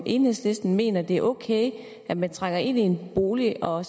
enhedslisten mener det er ok at man trænger ind i en bolig og